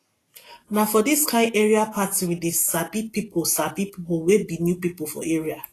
na for dis kain area party we dey sabi pipo sabi pipo wey be new pipo for area